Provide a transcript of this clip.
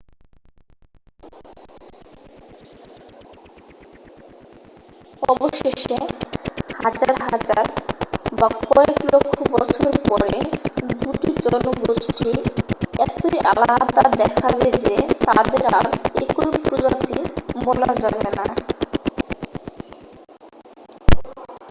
অবশেষে হাজার হাজার বা কয়েক লক্ষ বছর পরে দুটি জনগোষ্ঠী এতই আলাদা দেখাবে যে তাদের আর একই প্রজাতি বলা যাবে না